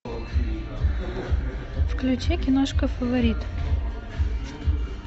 включи киношку фаворит